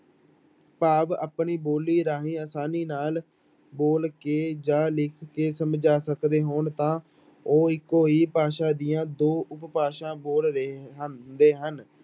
ਭਾਵ ਆਪਣੀ ਬੋਲੀ ਰਾਹੀਂ ਆਸਾਨੀ ਨਾਲ ਬੋਲ ਕੇ ਜਾਂ ਲਿਖ ਕੇ ਸਮਝਾ ਸਕਦੇ ਹੋਣ ਤਾਂ ਉਹ ਇੱਕੋ ਹੀ ਭਾਸ਼ਾ ਦੀਆਂ ਦੋ ਉਪਭਾਸ਼ਾਂ ਬੋਲ ਰਹੇ ਹਨ, ਹੁੰਦੇ ਹਨ।